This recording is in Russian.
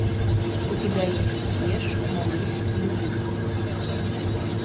у тебя есть ешь молись люби